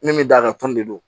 Min mi d'a kan tɔni de don